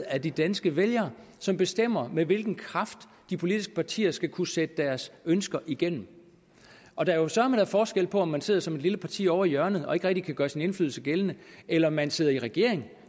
af de danske vælgere som bestemmer med hvilken kraft de politiske partier skal kunne sætte deres ønsker igennem og der er søreme da forskel på om man sidder som et lille parti ovre i hjørnet og ikke rigtig kan gøre sin indflydelse gældende eller man sidder i regering